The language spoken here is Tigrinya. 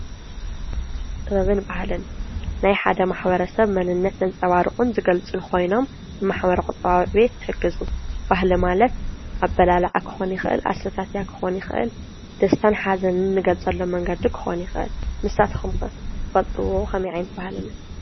ጥበብን ባህልን ናይ ሓደ ማሕበረተሰብ መንነት ዘንፀባርቁን ዝገልፁን ኮይኖም ማሕበረ ቁጠባዊ ዕብየት ይሕግዙ ።ባህሊ ማለት አበላልዓ ክኾን ይክእል ፣አሰታትያ ክኾን ይክእል፣ ደስታን ሓዘንን እንገልፀሉ መንገዲ ክኾን ይክእል ፣ንስካትኩም ከ ትፈልጥዎ ከመይ ዓይነት ባህሊ አሎ?